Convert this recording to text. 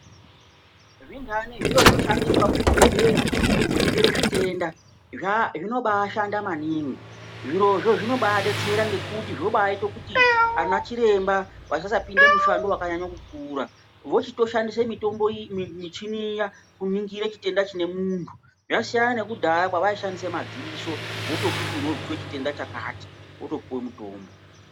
Zvinhani zviro zvoshandiswa muzvibhedhlera kuningire zvitenda zvinobaadhanda maningi. Zvirozvo zvinombaadetsera maningi ngekuti zvinobaaite kuti anachiremba kuti vasasanyanye kuite mishando yakanyanya kukura. Vanoshandise michini iyi kuningire zvitenda zvemunhu. Zvasiyana nekudhaya kwevaishandisa madziso votokuti unozwa chitenda chakati wotopuwe mitombo.